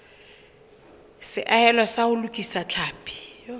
seahelo sa ho lokisa tlhapi